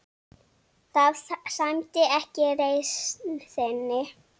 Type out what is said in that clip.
Það sæmdi ekki reisn þinni.